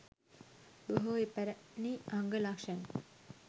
බොහෝ පැරැණි අංග ලක්‍ෂණ